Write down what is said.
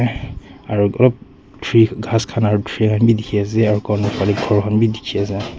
aru group tree ghass khan aru tree khan bhi dikhi ase aru corner fanhe ghor khan bhi dikhi ase.